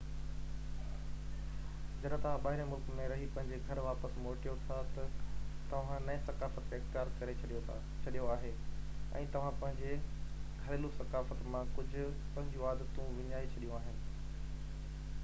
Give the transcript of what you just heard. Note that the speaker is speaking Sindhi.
جڏهن توهان ٻاهرين ملڪ ۾ رهي پنهنجي گهر واپس موٽيو ٿا تہ توهان نئي ثقافت کي اختيار ڪري ڇڏيو آهي ۽ توهان پنهنجي گهريلو ثقافت مان ڪجهہ پنهنجيون عادتون وڃائي ڇڏيون آهن